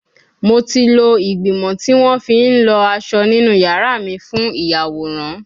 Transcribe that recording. Mo ti lo igbimọ ti won fi n lo aso ninu yara mi fun iyaworan